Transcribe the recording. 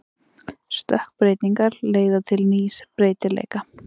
Stökkbreytingar leiða til nýs breytileika.